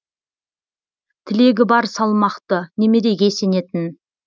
тілегі бар салмақты немереге сенетін